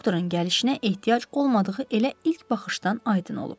Doktorun gəlişinə ehtiyac olmadığı elə ilk baxışdan aydın olub.